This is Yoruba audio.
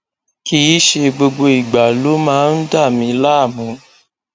kìí ṣe gbogbo ìgbà ló máa ń dà mí láàmú